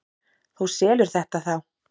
Þú selur þetta þá?